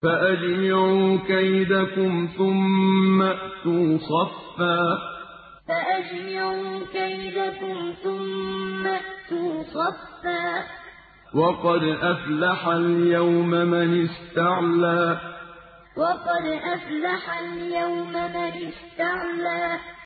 فَأَجْمِعُوا كَيْدَكُمْ ثُمَّ ائْتُوا صَفًّا ۚ وَقَدْ أَفْلَحَ الْيَوْمَ مَنِ اسْتَعْلَىٰ فَأَجْمِعُوا كَيْدَكُمْ ثُمَّ ائْتُوا صَفًّا ۚ وَقَدْ أَفْلَحَ الْيَوْمَ مَنِ اسْتَعْلَىٰ